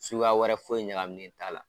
Sukuya wɛrɛ foyi ɲakaminen t'a la.